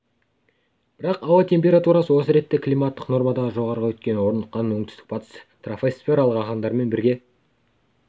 бірақ ауа температурасы осы ретте климаттық нормадан жоғары өйткені орныққан оңтүстік батыс тропосфералық ағындармен бірге